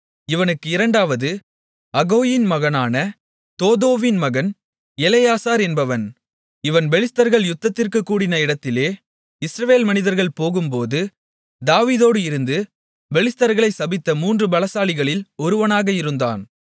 இவனுக்கு இரண்டாவது அகோயின் மகனான தோதோவின் மகன் எலெயாசார் என்பவன் இவன் பெலிஸ்தர்கள் யுத்தத்திற்குக் கூடின இடத்திலே இஸ்ரவேல் மனிதர்கள் போகும்போது தாவீதோடு இருந்து பெலிஸ்தர்களை சபித்த மூன்று பலசாலிகளில் ஒருவனாக இருந்தான்